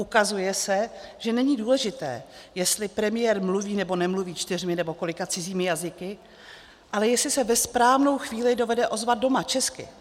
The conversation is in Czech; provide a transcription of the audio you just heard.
Ukazuje se, že není důležité, jestli premiér mluví nebo nemluví čtyřmi nebo kolika cizími jazyky, ale jestli se ve správnou chvíli dovede ozvat doma česky.